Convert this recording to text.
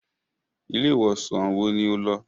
Ilé ìwòsàn wo ní o lọ?